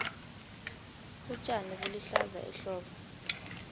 utjani bulihlaza ehlobo